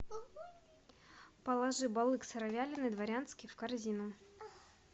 положи балык сыровяленый дворянский в корзину